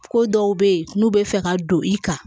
Ko dɔw bɛ yen n'u bɛ fɛ ka don i kan